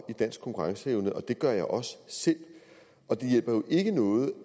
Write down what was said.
i dansk konkurrenceevne det gør jeg også selv og det hjælper jo ikke noget